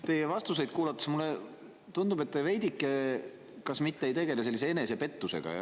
Teie vastuseid kuulates mulle tundub, et kas te mitte veidike ei tegele enesepettusega.